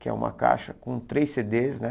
Que é uma caixa com três cê dês, né?